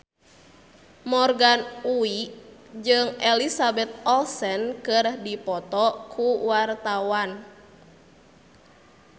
Morgan Oey jeung Elizabeth Olsen keur dipoto ku wartawan